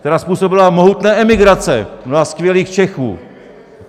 Která způsobila mohutné emigrace mnoha skvělých Čechů!